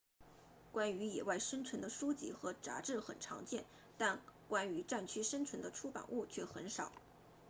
关于野外生存的书籍和杂志很常见但关于战区生存的出版物却很少